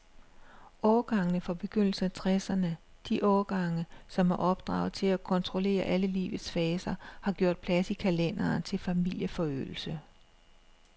Årgangene fra begyndelsen af tresserne, de årgange, som er opdraget til at kontrollere alle livets faser, har gjort plads i kalenderen til familieforøgelse.